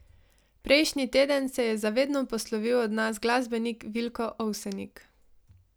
Prejšnji teden se je za vedno poslovil od nas glasbenik Vilko Ovsenik.